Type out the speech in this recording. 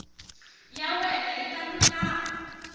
ya wena yi ta lulama